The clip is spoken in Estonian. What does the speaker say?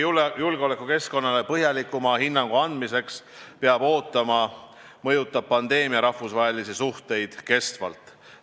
Julgeolekukeskkonnale põhjalikuma hinnangu andmiseks peab veel ootama, aga pandeemia mõjutab rahvusvahelisi suhteid ilmselgelt.